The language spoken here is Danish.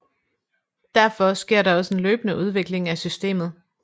Derfor sker der også en løbende udvikling af systemet